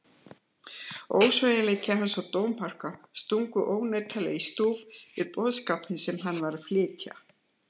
Ósveigjanleiki hans og dómharka stungu ónotalega í stúf við boðskapinn sem hann var að flytja.